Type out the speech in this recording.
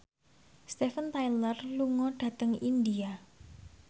Steven Tyler lunga dhateng India